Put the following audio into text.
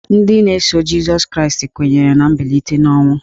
Ndị na-eso Jịsọs Kraịst kwenyere na mbilite n'ọnwụ.